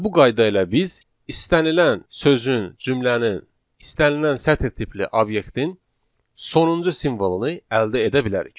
Və bu qayda ilə biz istənilən sözün, cümlənin, istənilən sətr tipli obyektin sonuncu simvolunu əldə edə bilərik.